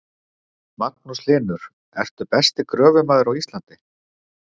Magnús Hlynur: Ertu besti gröfumaður á Íslandi?